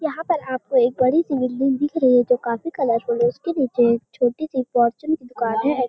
यहाँ पर आपको एक बड़ी सी बिल्डिंग दिख रही है जो काफी कलरफुल है उसके नीचे छोटी सी फॉरचुन की दुकान है |